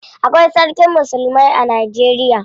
Akwai sarkin musulmai a Najeriya.